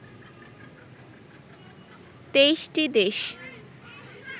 ২৩ টি দেশ